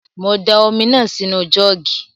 Mo da omi náà sí nu jọ́ọ̀gì